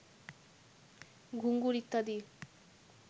ঘুঙুর ইত্যাদি